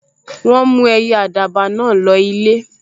Wọ́n mú ẹyẹ àdàbà náà lọ ilé